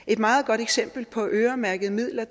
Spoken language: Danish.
et meget godt eksempel på øremærkede midler